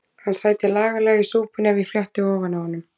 Hann sæti laglega í súpunni ef ég fletti ofan af honum.